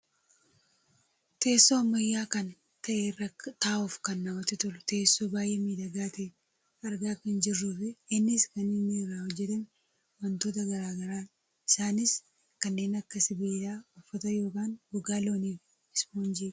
Teessoo ammayyaa kan ta'e irra taa'uuf kan namatti tolu teessoo baayyee miidhagaa ta'e argaa kan jirruufi innis kan inni irraa hojjatame wantoota gara garaadha. isaanis kanneen akka sibiila, uffata yookaan gogaa loonii fi 'ispoonjiidha'.